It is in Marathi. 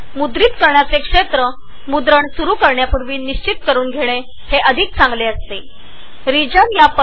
तुम्हाला एक सल्ला असा आहे की रेकॉर्डिंग सुरु करण्यापूर्वी तुम्ही कॅप्चर एरिया निश्चित करुन कॅप्चर रिजन निश्चित करावा